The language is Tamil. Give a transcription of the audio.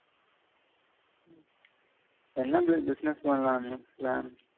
என்ன மாதி business பண்ணலாம்னு plan